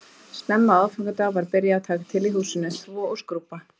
Snemma á aðfangadag var byrjað að taka til í húsinu, þvo og skrúbba